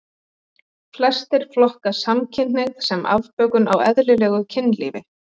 Flestir flokka samkynhneigð sem afbökun á eðlilegu kynlífi.